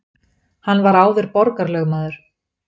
Hann var áður borgarlögmaður